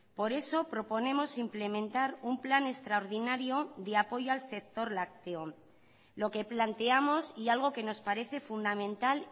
por eso proponemos implementar un plan extraordinario de apoyo al sector lácteo lo que planteamos y algo que nos parece fundamental